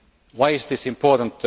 Why is this important?